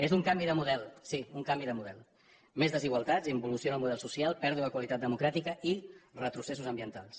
és un canvi de model sí un canvi de model més desigualtats involució en el model social pèrdua de qualitat democràtica i retrocessos ambientals